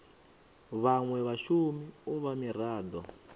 vhanwe vhashumi u vha mirado